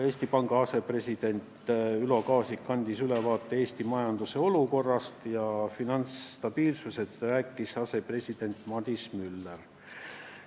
Eesti Panga asepresident Ülo Kaasik andis ülevaate Eesti majanduse olukorrast, finantsstabiilsusest rääkis asepresident Madis Müller.